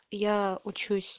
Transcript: я учусь